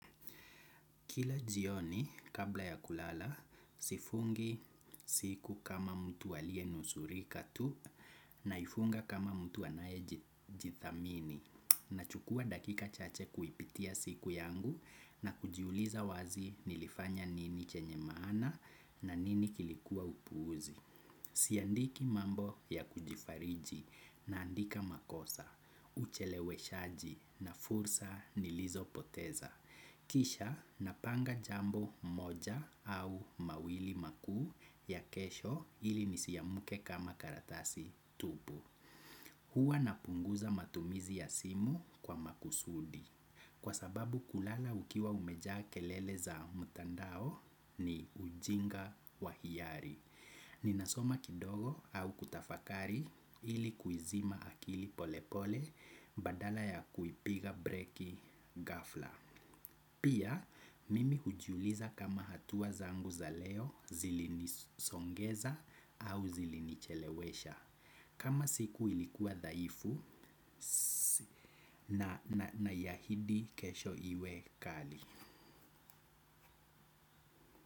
Kila jioni kabla ya kulala, sifungi siku kama mtu alienusurika tu naifunga kama mtu anayejithamini. Nachukua dakika chache kuipitia siku yangu na kujiuliza wazi nilifanya nini chenye maana na nini kilikuwa upuuzi. Siandiki mambo ya kujifariji naandika makosa, ucheleweshaji na fursa nilizopoteza. Kisha napanga jambo moja au mawili makuu ya kesho ili nisiamke kama karatasi tupu. Huwa napunguza matumizi ya simu kwa makusudi. Kwa sababu kulala ukiwa umejaa kelele za mtandao ni ujinga wa hiyari. Ninasoma kidogo au kutafakari ili kuizima akili polepole badala ya kuipiga breki ghafla. Pia mimi hujiuliza kama hatua zangu za leo zilinisongeza au zilinichelewesha. Kama siku ilikuwa dhaifu naiahidi kesho iwe kali.